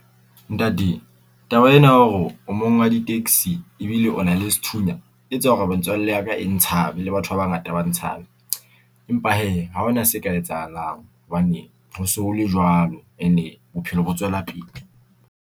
Ntate taba ena ya hore o mong wa di-taxi ebile o na le sethunya, e tse hore ya ka e ntshabe. Le batho ba bangata ba ntshabe. Empa hee ha ho na se ka etsahalang hobane ho se ho le jwalo, ene bophelo bo tswela pele.